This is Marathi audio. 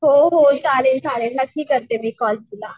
हो हो चालेल चालेल नक्की करते मी कॉल तुला.